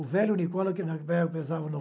O velho Nicola, que pesava no